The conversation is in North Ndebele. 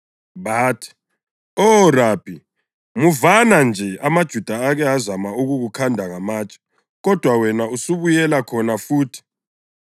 Bathi, “Oh, Rabi, muvana nje amaJuda ake azama ukukukhanda ngamatshe kodwa wena usubuyela khona futhi?”